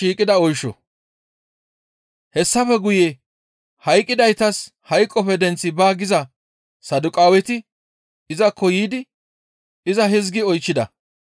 Hessafe guye hayqqidaytas hayqoppe denththi baa giza Saduqaaweti izakko yiidi iza hizgi oychchida.